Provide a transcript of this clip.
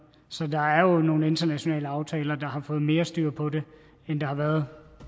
så der er jo nogle internationale aftaler der har fået mere styr på det end der har været